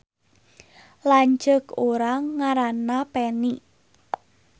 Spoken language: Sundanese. Lanceuk urang ngaranna Peni